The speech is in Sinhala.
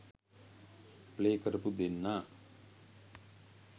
ප්ලේ කරපු දෙන්නා.